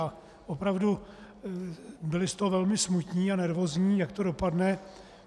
A opravdu byli z toho velmi smutní a nervózní, jak to dopadne.